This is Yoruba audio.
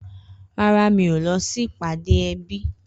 Rárá, mi o lọsi ìpáde ẹbi.